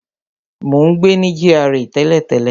Mo ń gbé ní GRA tẹ́lẹ̀tẹ́lẹ̀